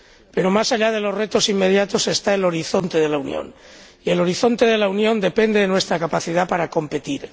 Pero más allá de los retos inmediatos está el horizonte de la Unión, y el horizonte de la Unión depende de nuestra capacidad para competir.